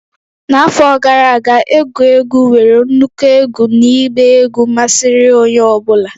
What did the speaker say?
N'afọ gara aga, egwu egwu nwere nnukwu egwu na ịgba egwu masịrị onye ọ bụla.